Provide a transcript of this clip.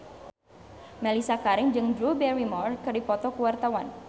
Mellisa Karim jeung Drew Barrymore keur dipoto ku wartawan